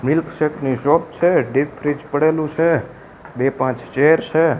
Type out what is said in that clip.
Milkshake ની shop છે deep fridge પડેલુ છે બે પાંચ ચેર છે.